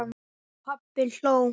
Og pabbi hló.